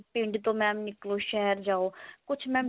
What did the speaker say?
ਪਿੰਡ ਤੋਂ ਨਿਕਲੋ mam ਸ਼ਹਿਰ ਜਾਓ ਕੁਛ mam